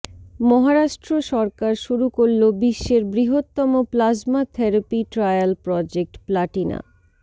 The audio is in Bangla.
মহারাষ্ট্র সরকার শুরু করল বিশ্বের বৃহত্তম plasma therapy trial project Platina